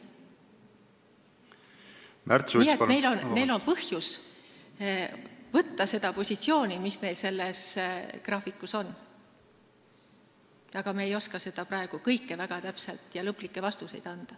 Nii et neil on põhjus olla sellel positsioonil, mis selles graafikus kirjas on, aga me ei oska seda praegu kõike väga täpselt seletada ja lõplikke vastuseid anda.